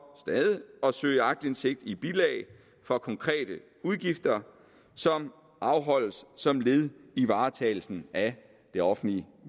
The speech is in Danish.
at søge aktindsigt i bilag for konkrete udgifter som afholdes som led i varetagelsen af det offentlige